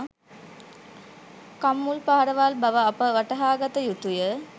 කම්මුල් පහරවල් බව අප වටහාගත යුතුය